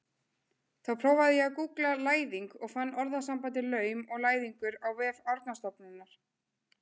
Þá prófaði ég að gúggla læðing og fann orðasambandið laum og læðingur á vef Árnastofnunar.